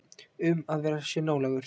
Um að vera sér nálægur.